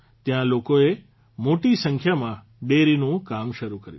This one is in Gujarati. ત્યાં લોકોએ મોટી સંખ્યામાં ડેરીનું કામ શરૂ કર્યું